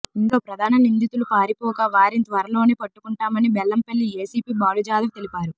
ఇందులో ప్రధాన నిందితులు పారిపోగా వారిని త్వరలోనే పట్టుకుంటామని బెల్లంపల్లి ఏసిపి బాలుజాదవ్ తెలిపారు